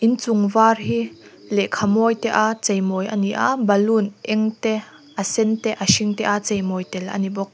in chung var hi lehkha mawi te a cheimawi a ni a balloon eng te a sen te a hring te a cheimawi a ni bawk.